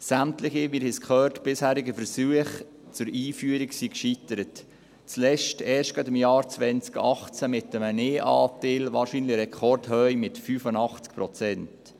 Sämtliche – wir haben es gehört – bisherige Versuche zur Einführung sind gescheitert, letztmals gerade erst im Jahr 2018 mit einem Nein-Anteil, wahrscheinlich in Rekordhöhe, von 85 Prozent.